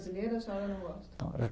a senhora não gosta?